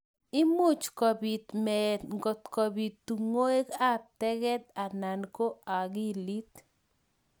Imuch kobit meet ngotkobit tungwek ab teget anan ko akilit.